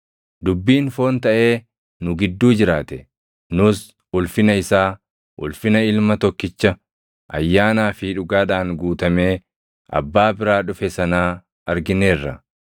Dubbiin foon taʼee nu gidduu jiraate. Nus ulfina isaa, ulfina Ilma Tokkicha ayyaanaa fi dhugaadhaan guutamee Abbaa biraa dhufe sanaa argineerra.